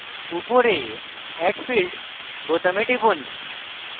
উপরে add field বোতামে টিপুন